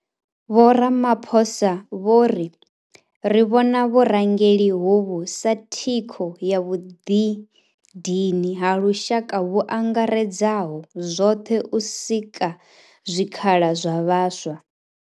Vho Ramaphosa vho ri, Ri vhona vhurangeli hovhu sa thikho ya vhuḓidini ha lushaka vhu angaredzaho zwoṱhe u sika zwikhala zwa vhaswa.